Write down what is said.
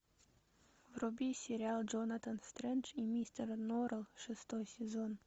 вруби сериал джонатан стрендж и мистер норрелл шестой сезон